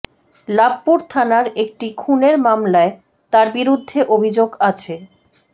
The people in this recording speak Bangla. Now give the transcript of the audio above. লাভপুর থানার একটি খুনের মামলায় তার বিরুদ্ধে অভিযোগ আছে